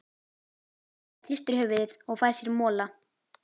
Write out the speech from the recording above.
Edda hristir höfuðið og fær sér mola.